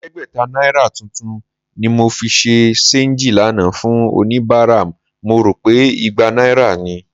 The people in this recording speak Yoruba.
Ẹ̀ẹ́dẹ́gbẹ̀ta náírà tuntun ni mo fi ṣe ṣééńjì lánàá fún oníbàárà, mo rò pé igba náírà ni